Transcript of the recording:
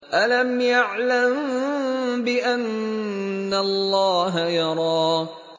أَلَمْ يَعْلَم بِأَنَّ اللَّهَ يَرَىٰ